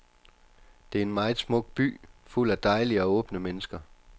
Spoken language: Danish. Det er en meget smuk by, fuld af dejlige og åbne mennesker.